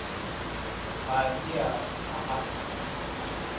Það er þér að þakka.